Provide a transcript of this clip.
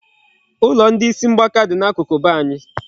Ụlọ ndị isi mgbaka dị n'akụkụ be anyị.